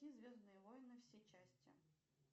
звездные воины все части